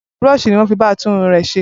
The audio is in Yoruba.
Burooṣi ni wọ́n fi bá a tún irun rè ṣe.